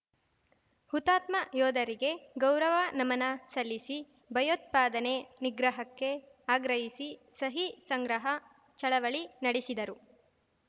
ಹುತಾತ್ಮ ಯೋಧರಿಗೆ ಗೌರವ ನಮನ ಸಲ್ಲಿಸಿ ಭಯೋತ್ಪಾದನೆ ನಿಗ್ರಹಕ್ಕೆ ಆಗ್ರಹಿಸಿ ಸಹಿ ಸಂಗ್ರಹ ಚಳವಳಿ ನಡೆಸಿದರು